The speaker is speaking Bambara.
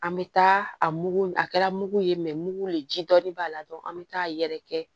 An bɛ taa a mugu a kɛra mugu ye mugu le ji dɔɔnin b'a la dɔrɔn an bɛ taa yɛrɛ kɛ